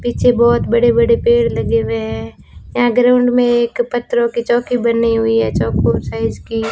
पीछे बहोत बड़े बड़े पेड़ लगे हुए हैं यहां ग्राउंड में एक पत्थरों की चौकी बनी हुई है चौकोर साइज की --